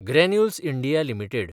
granules India limited